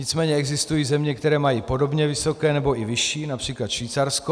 Nicméně existují země, které mají podobně vysoké, nebo i vyšší, například Švýcarsko.